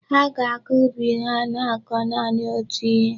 Ha ga-aga ubi ha na-akọ naanị otú ihe.